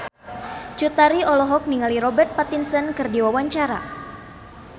Cut Tari olohok ningali Robert Pattinson keur diwawancara